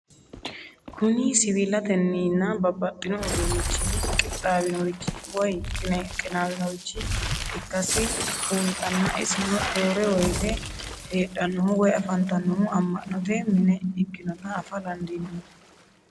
Kuni siwilateninna babaxino udunichin qixawinoricho woyi qinawinorich ikasi bunxana isino rore woyite hedhanohu woyi afantanohu amanote mine ikinota afa dandinemo?